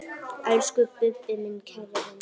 Elsku Bubbi, minn kæri vinur.